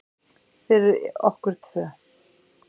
Fyrir okkur tvö.